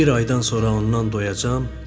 Bir aydan sonra ondan doyacam.